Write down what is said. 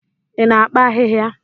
Ị na-akpa ahịhịa?